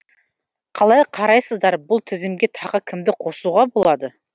қалай қарайсыздар бұл тізімге тағы кімді қосуға болады